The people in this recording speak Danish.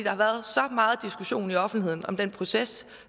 har været så meget diskussion i offentligheden om den proces